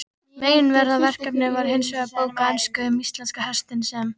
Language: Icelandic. Meginverkefnið var hinsvegar bók á ensku um íslenska hestinn, sem